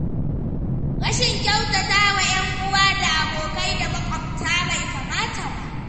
Rashin kyautata wa 'yanuwa da abokai da maƙwabta bai kamata ba.